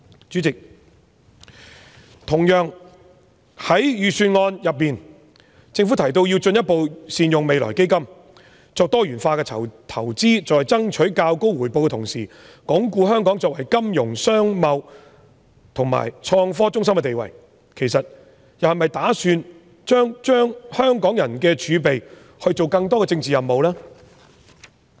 主席，同樣地，政府在預算案中提到要"進一步善用未來基金"、作"多元化投資"、"在爭取較高回報的同時，鞏固香港作為金融、商貿和創科中心的地位"，其實是否又打算把香港人的儲備用作推行更多政治任務呢？